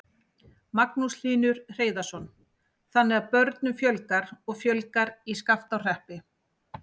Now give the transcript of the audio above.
Magnús Hlynur Hreiðarsson: Þannig að börnum fjölgar og fjölgar í Skaftárhreppi?